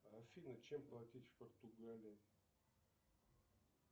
афина чем платить в португалии